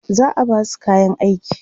za'a Basu kayan aiki